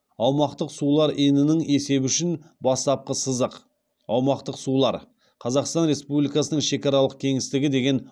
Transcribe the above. аумақтық сулар енінің есебі үшін бастапқы сызық аумақтық сулар қазақстан республикасының шекаралық кеңістігі деген